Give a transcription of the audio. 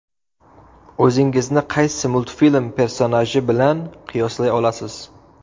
O‘zingizni qaysi multfilm personaji bilan qiyoslay olasiz?